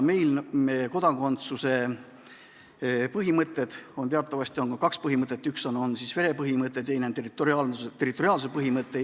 Teatavasti on kaks kodakondsuse põhimõtet: üks on verepõhimõte ja teine on territoriaalsuse põhimõte.